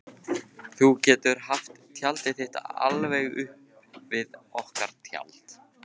Þú getur haft tjaldið þitt alveg upp við okkar tjald.